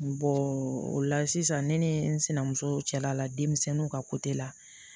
o la sisan ne ni n sinamuso cɛla la denmisɛnninw ka la